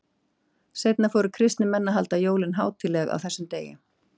Seinna fóru kristnir menn að halda jólin hátíðleg á þessum sama degi.